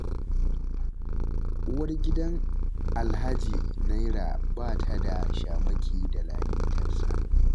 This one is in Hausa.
Uwar gidan Alhaji Naira ba ta da shamaki da lalitarsa.